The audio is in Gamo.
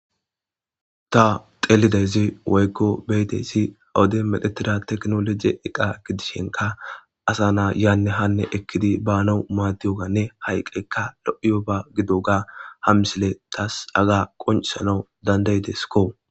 Ta xelidaysi woyko be'idaysi ha Woden medhetida tekinoloje iqa gidishin asa na'a hane yane ekidi banaw madiyogane haeqayka lo'iyoba gidoga ha missiley tas Haga qonc'isanw danda'desko.